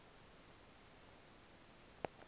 kathi kwam uze